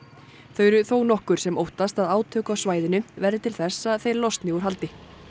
þau eru þónokkur sem óttast að átök á svæðinu verði til þess að þeir losni úr haldi